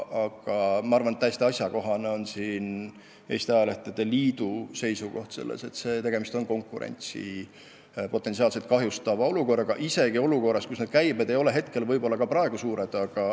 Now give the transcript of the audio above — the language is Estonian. Aga minu arvates on siin asjakohane Eesti Ajalehtede Liidu seisukoht, et tegemist on konkurentsi potentsiaalselt kahjustava olukorraga, isegi kui asjaomased käibed ei ole praegu suured.